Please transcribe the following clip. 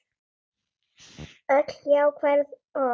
Öll jákvæð orð.